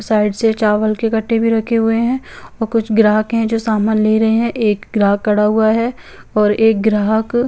site से चावल के कट्टे भी रखे हुए हे और कुछ ग्राहक हे जो सामान ले रहे हे एक ग्राहक खड़ा हुआ हे और एक ग्राहक--